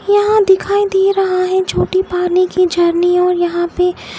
यहाँ दिखाई दे रहा है छोटी पानी के झरने और यहाँ पे ।